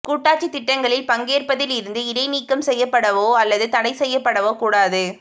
கூட்டாட்சி திட்டங்களில் பங்கேற்பதில் இருந்து இடைநீக்கம் செய்யப்படவோ அல்லது தடைசெய்யப்படவோ கூடாது